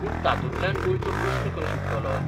पूण तातूंतल्यान गोंयचो प्रस्न खंय सुट्टलो?